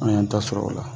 An y'an ta sɔrɔ o la